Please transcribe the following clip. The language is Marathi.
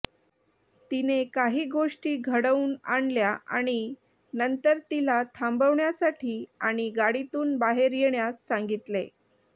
तिने काही गोष्टी घडवून आणल्या आणि नंतर तिला थांबण्यासाठी आणि गाडीतून बाहेर येण्यास सांगितले